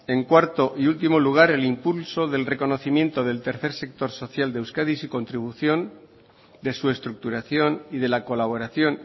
en cuarto y último lugar el impulso del reconocimiento del tercer sector social de euskadi su contribución de su estructuración y de la colaboración